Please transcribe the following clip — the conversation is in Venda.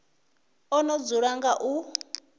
o no dzula nga u